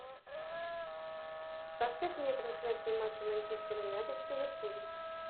поставь мне трансляцию матча манчестер юнайтед с ливерпулем